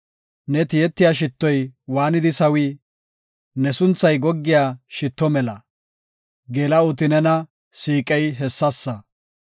Ne tiyetiya shittoy waanidi sawii! Ne sunthay goggiya shitto mela; Geela7oti nena siiqey hessasa.